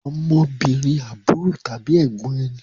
Ọmọbìnrin àbúrò tàbí ẹ̀gbọ́n ẹni